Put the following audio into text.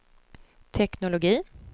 teknologi